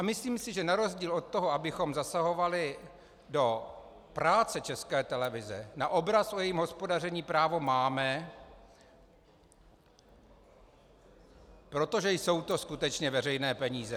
A myslím si, že na rozdíl od toho, abychom zasahovali do práce České televize, na obraz o jejím hospodaření právo máme, protože jsou to skutečně veřejné peníze.